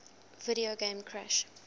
video game crash